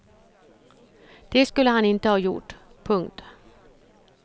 Det skulle han inte ha gjort. punkt